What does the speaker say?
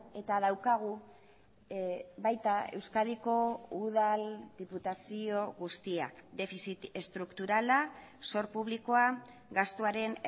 eta daukagu baita euskadiko udal diputazio guztiak defizit estrukturala zor publikoa gastuaren